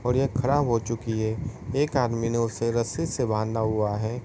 और यह खराब हो चुकी हैएक आदमी ने उसे रस्सी से बांधा हुआ है।